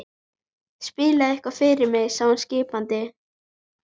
Spilaðu eitthvað fyrir mig sagði hún skipandi.